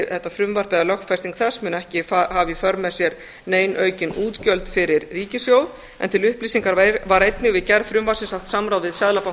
þetta frumvarp eða lögfesting þess muni ekki hafa í för með sér nein aukin útgjöld fyrir ríkissjóð en til upplýsingar var einnig við gerð frumvarpsins haft samráð við seðlabanka